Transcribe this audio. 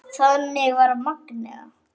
Þannig var Magnea.